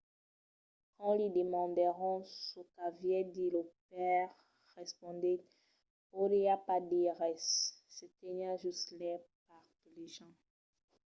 quand li demandèron çò qu’aviá dich lo paire respondèt podiá pas dire res – se teniá just lai parpelejant.